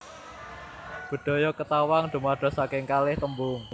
Bedhaya Ketawang dumados saking kalih tembung